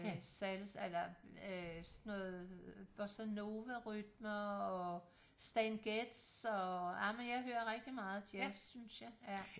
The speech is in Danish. Salsa eller øh sådan noget bossa nova rytmer og Stan Getz og ej men jeg hører rigtig meget jazz synes jeg